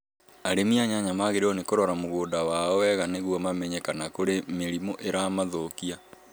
Arĩmi a nyanya magĩrĩirũo nĩ kũrora mũgũnda wao wega nĩguo mamenye kana nĩ kũrĩ mĩrimũ ĩramathũũkia.